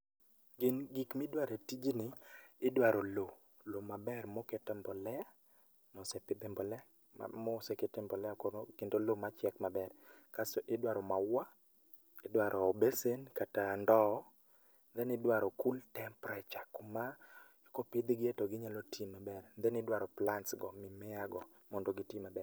Gin gik midware e tijni, idwaro loo. Loo maber mokete e mbolea, mosepidhe mbolea ma mosekete mbolea koro kendo loo machiek maber. Kasto idwaro mauwa, idwaro besen kata ndoo then idwaro cool temperature kuma, kopidh gie to ginyalo tii maber then idwaro plants go mimea go mondo gitii maber